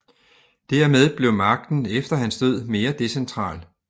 Dermed blev magten efter hans død mere decentral